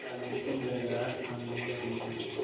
तालियों की गड़गड़ाहट कम नहीं हो रही थी